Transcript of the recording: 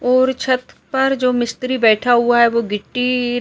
और छत पर जो मिस्त्री बैठा हुआ है वो गिट्टी--